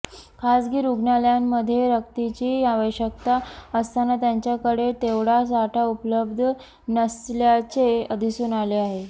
खाजगी रुग्णालयांमध्ये रक्ताची आवश्यकता असताना त्यांच्याकडे तेवढा साठा उपलब्ध नसल्याचे दिसून आले आहे